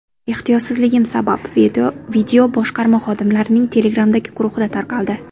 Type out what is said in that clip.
Ehtiyotsizligim sabab video boshqarma xodimlarining Telegram’dagi guruhida tarqaldi.